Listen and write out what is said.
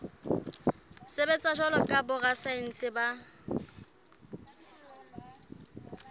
sebetsa jwalo ka borasaense ba